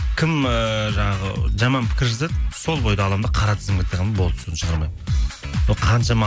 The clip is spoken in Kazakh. кім ыыы жаңағы жаман пікір жазады сол бойда аламын да қара тізімге тығамын болды сосын шығармаймын қаншама